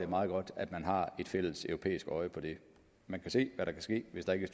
meget godt at man har et fælleseuropæisk øje på det man kan se hvad der kan ske hvis der ikke